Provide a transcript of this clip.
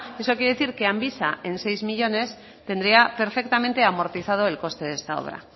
eso quiere decir que amvisa en seis millónes tendría perfectamente amortizado el coste de esta obra